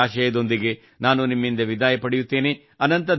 ಇದೇ ಆಶಯದೊಂದಿಗೆ ನಾನು ನಿಮ್ಮಿಂದ ವಿದಾಯ ಪಡೆಯುತ್ತೇನೆ